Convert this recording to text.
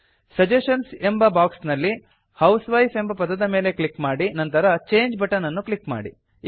suggestions ಎಂಬ box ನಲ್ಲಿ housewife ಎಂಬ ಪದದ ಮೇಲೆ ಕ್ಲಿಕ್ ಮಾಡಿ ನಂತರ ಚಂಗೆ ಬಟನ್ ಅನ್ನು ಕ್ಲಿಕ್ ಮಾಡಿ